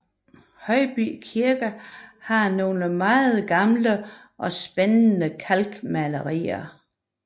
Højby Kirke har nogle meget gamle og spændende kalkmalerier